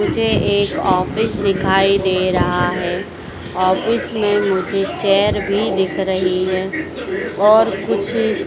मुझे एक ऑफिस दिखाई दे रहा है। ऑफिस में मुझे चेयर भी दिख रही है और कुछ--